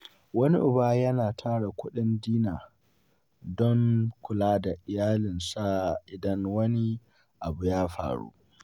Wani uba yana tara kudin Dinar don kula da iyalinsa idan wani abu ya faru.